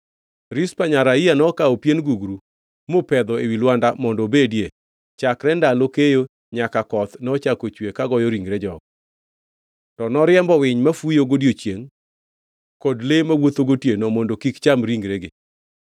Rizpa nyar Aiya nokawo pien gugru mopedho ewi lwanda mondo obedie, chakre ndalo keyo nyaka koth nochako chue ka goyo ringre jogo. To noriembo winy mafuyo godiechiengʼ kod le mawuotho gotieno mondo kik cham ringregi.